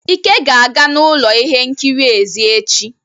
Ike ga-aga n'ụlọ ihe nkiri èzí echi.